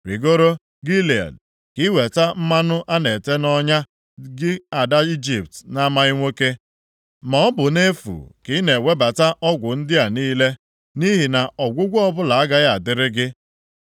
“Rigoro Gilead ka i weta mmanụ a na-ete nʼọnya, gị Ada Ijipt na-amaghị nwoke. Ma ọ bụ nʼefu ka ị na-ewebata ọgwụ ndị a niile, nʼihi na ọgwụgwọ ọbụla agaghị adịrị gị.